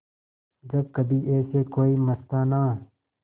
जब कभी ऐसे कोई मस्ताना